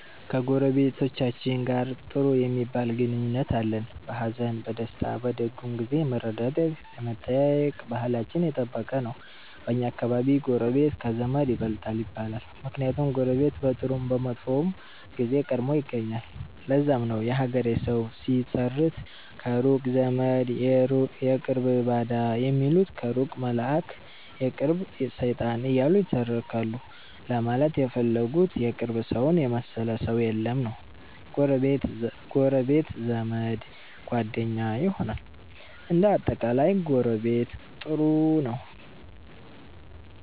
ከጎረቤቶቻችን ጋር ጥሩ ሚባል ግንኙነት አለን። በሀዘን፣ በደስታ፣ በደጉም ጊዜ የመረዳዳት የመጠያየቅ ባህላችን የጠበቀ ነው። በኛ አከባቢ ጎረቤት ከዘመድ ይበልጣል ይባላል። ምክንያቱም ጎረቤት በጥሩም በመጥፎም ጊዜ ቀድሞ ይገኛል። ለዛም ነው የሀገሬ ሠዉ ሲተርት ከሩቅ ዘመድ የቅርብ ባዳ ሚሉት ከሩቅ መላእክ የቅርብ ሠይጣን እያሉ ይተረካሉ ለማለት የፈለጉት የቅርብ ሠውን የመሠለ ሠው የለም ነዉ። ጎረቤት ዘመድ፣ ጓደኛ ይሆናል። እንደ አጠቃላይ ጎረቤት ጥሩ ነው።